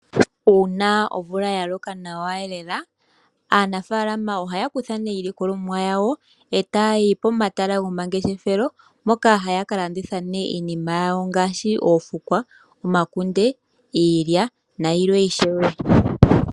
Uuna omvula ya loko nawa lela, aanafaalama ohaya kutha iilikolomwa yawo etayi pomahala gomangeshefelo moka haya ka landitha iinima yanwi ngaashi oofukwa, omakunde, iilya nayilwe ishewe.